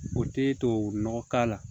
O tɛ tubabu nɔgɔ k'a la